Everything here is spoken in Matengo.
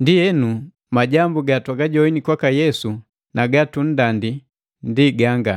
Ndienu, majambu gatwagajoini kwaka Yesu na gatunndandila ndi ganga: